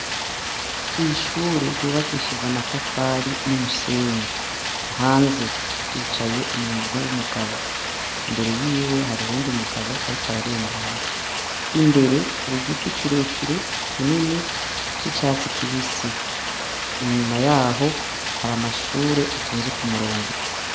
Kwishure ryubakishije amatafari n' umusenyi hanze hicaye umuntu w' umugabo imbere yiwe hari uwundi mugabo ariko ararengana imbere hari igiti kire kire kinini c' icatsi kibisi inyuma yaho hari amashure atonze ku murongo.